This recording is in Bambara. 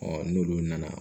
n'olu nana